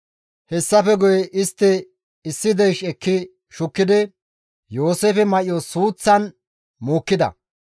Hessafe guye istti issi deysh ekki shukkidi Yooseefe may7o suuththan maadhida.